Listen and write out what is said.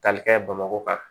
Tali kɛ bamakɔ